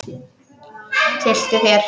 Tylltu þér.